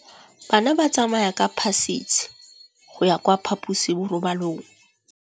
Bana ba tsamaya ka phašitshe go ya kwa phaposiborobalong.